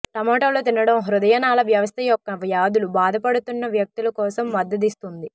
టమోటాలు తినడం హృదయనాళ వ్యవస్థ యొక్క వ్యాధులు బాధపడుతున్న వ్యక్తులు కోసం మద్దతిస్తుంది